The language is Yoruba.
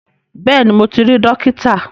Bẹ́ẹ̀ni mo ti rí Dókítà